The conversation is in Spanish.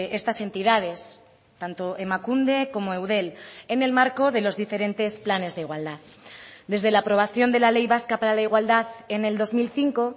estas entidades tanto emakunde como eudel en el marco de los diferentes planes de igualdad desde la aprobación de la ley vasca para la igualdad en el dos mil cinco